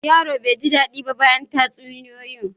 Yaron bai ji dadi ba bayan tatsuniyoyi.